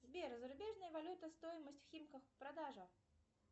сбер зарубежная валюта стоимость в химках продажа